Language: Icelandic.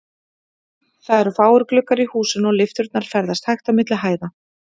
Það eru fáir gluggar í húsinu, og lyfturnar ferðast hægt á milli hæða.